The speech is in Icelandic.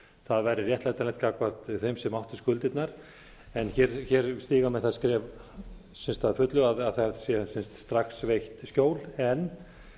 það væri réttlætanlegt gagnvart þeim sem áttu skuldirnar en hér stíga menn það skref sem sagt að fullu að það sé strax veitt skjól en